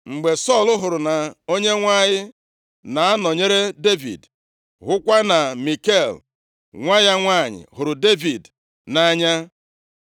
Mgbe Sọl hụrụ na Onyenwe anyị na-anọnyere Devid, hụkwa na Mikal nwa ya nwanyị hụrụ Devid nʼanya,